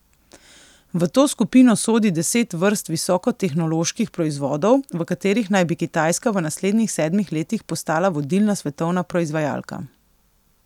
V to skupino sodi deset vrst visokotehnoloških proizvodov, v katerih naj bi Kitajska v naslednjih sedmih letih postala vodilna svetovna proizvajalka.